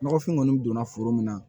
Nɔgɔfin kɔni donna foro min na